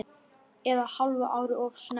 Eða hálfu ári of snemma.